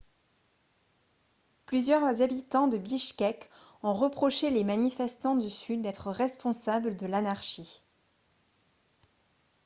plusieurs habitants de bichkek ont reproché les manifestants du sud d'être responsables de l'anarchie